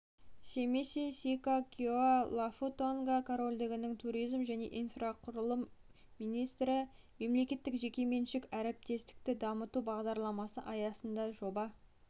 семиси сика киоа лафу тонга корольдігінің туризм және инфрақұрылым министрі мемлекеттік-жекеменшік әріптестікті дамыту бағдарламасы аясында жоба